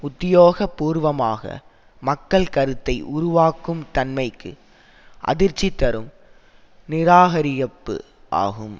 உத்தியோகபூர்வமாக மக்கள் கருத்தை உருவாக்கும் தன்மைக்கு அதிர்ச்சி தரும் நிராகரியிப்பு ஆகும்